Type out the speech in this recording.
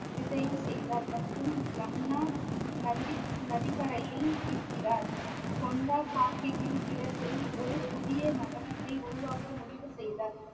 விஜயம் செய்தார் மற்றும் ஜமுனா நந்திக்~ நதிக்கரையில் இருக்கிறார் கொண்டா சாஹிப்பின் இடத்தில் ஒரு புதிய நகரத்தை உருவாக்க முடிவு செய்தார்